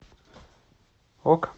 ок